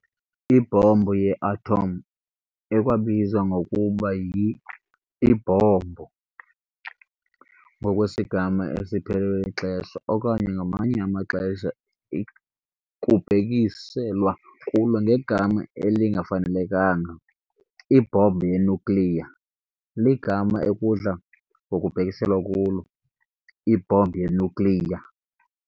Ibhombu yeathom, ekwabizwa ngokuba yi"Ibhombu" ngokwesigama esiphelelwe lixesha, okanye ngamanye amaxesha kubhekiselwa kulo ngegama elingafanelekanga "ibhombu yenyukliya", ligama "ekudla ngokubhekiselwa kulo ibhombu yenyukliya."